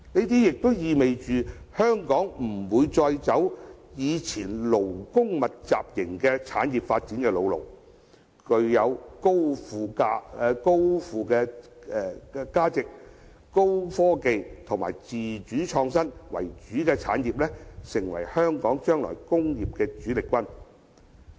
這意味香港不會再走以前勞工密集型產業的發展老路，而具有高附加值、高科技及自主創新為主的產業，將成為香港未來工業的主力軍。